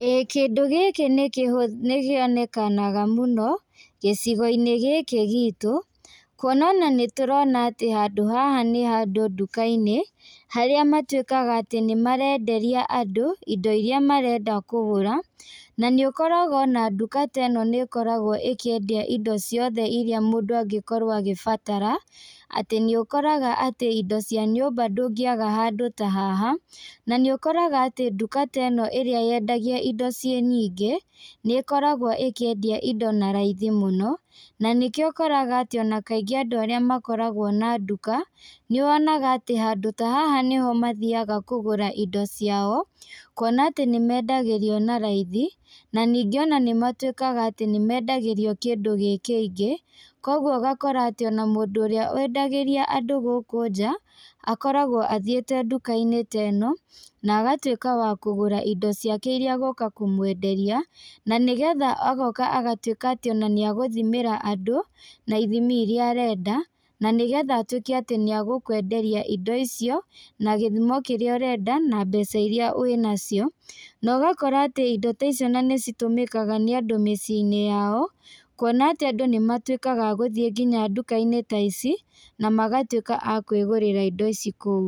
Ĩĩ kĩndũ gĩkĩ nĩ kĩhũ kĩonekanaga mũno gĩcigo-inĩ gĩkĩ gitũ, kuona ona nĩ tũrona atĩ handũ haha nĩ handũ nduka-inĩ, harĩa matuĩkaga atĩ nĩ marenderia andũ, indo iria marenda kũgũra, na nĩ ũkoraga ona nduka ta ĩno nĩ ĩkoragwo ĩkĩendia indo ciothe iria mũndũ angĩkorwo agĩbatara, atĩ nĩ ũkoraga atĩ indo cia nyũmba ndũngĩaga handũ ta haha, na nĩ ũkoraga atĩ nduka ta ĩno ĩrĩa yendagia indo ciĩ nyingĩ, nĩ ĩkoragwo ĩkĩendia indo na raithi mũno, na nĩkĩo ũkoraga atĩ na kaingĩ andũ arĩa makoragwo na nduka, nĩ wonaga atĩ handũ ta haha nĩho mathiaga kũgũra indo ciao, kuona atĩ nĩ mendagĩrio na raithi, na ningĩ ona nĩ matuĩkaga atĩ nĩ mendagĩrio kĩndũ gĩkĩingĩ, koguo ũgakora atĩ ona mũndũ ũrĩa endagĩria andũ gũkũ nja, akoragwo athiĩte nduka-inĩ teno, na agatuĩka wa kũgũra indo ciake iria egũka kũmwenderia, na nĩgetha agoka agatuĩka atĩ ona nĩ egũthimĩra andũ, na ithimi iria arenda, na nĩ getha atuĩke atĩ nĩ egũkwenderia indo icio na gĩthimo kĩrĩa ũrenda, na mbeca iria wĩnacio, na ũgakora atĩ indo ta icio ona nĩ citũmĩkaga nĩ andũ mĩciĩ-inĩ yao, kuona atĩ andũ nĩ matuĩkaga agũthiĩ nginya nduka-inĩ ta ici na magatuĩka akwĩgũrĩra indo ici kũu.